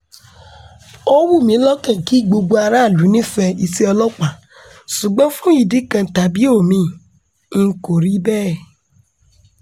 ó wù mí lọ́kàn kí gbogbo aráàlú nífẹ̀ẹ́ iṣẹ́ ọlọ́pàá ṣùgbọ́n fún ìdí kan tàbí omi-ín kò rí bẹ́ẹ̀